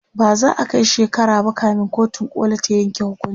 ba za'a Kai shekara ba kamin kotun koli ta Yanke hukunci